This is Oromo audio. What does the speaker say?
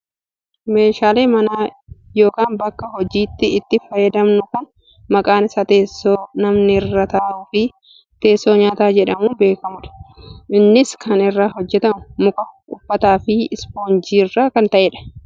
meeshaalee mana yookaa bakka hojiitti itti fayyadamnu kan maqaan isaa teessoo namni irra taa'uu fi teessoo nyaataa jedhamuuun beekkamudha. Innis kan irraa hojjatamu muka, uffataa fi ispoonjii irraa kan ta'edha.